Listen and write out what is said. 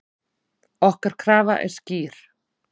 Okkar krafa er skýr.